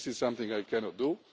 This is something I cannot